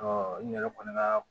n yɛrɛ kɔni ka